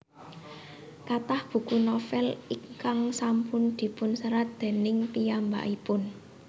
Kathah buku novel ingkang sampun dipunserat déning piyambakipun